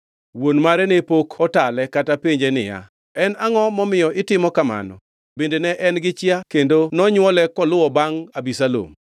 Wuon mare ne pok otale kata penje niya, “En angʼo momiyo itimo kamano?” Bende ne en gi chia kendo nonywole koluwo bangʼ Abisalom.